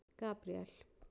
Gabríel